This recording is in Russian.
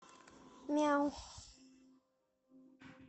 мяу